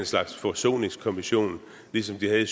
slags forsoningskommission ligesom de havde